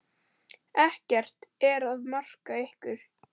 Ekkert er að marka ykkur.